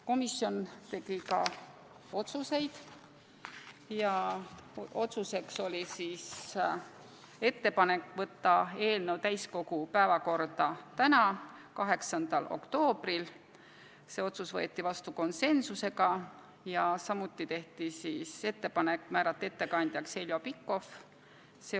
Komisjon tegi ka otsuseid: otsus oli saata eelnõu täiskogu päevakorda tänaseks, 8. oktoobriks ja otsustati määrata ettekandjaks Heljo Pikhof .